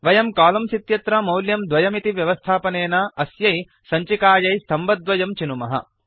वयं कोलम्न्स् इत्यत्र मौल्यं 2 इति व्यवस्थापनेन अस्यै सञ्चिकायै स्तम्भद्वयं चिनुमः